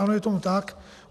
Ano, je tomu tak.